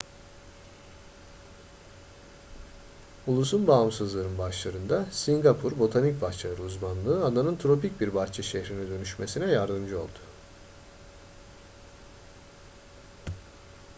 ulusun bağımsızlığının başlarında singapur botanik bahçeler uzmanlığı adanın tropik bir bahçe şehrine dönüşmesine yardımcı oldu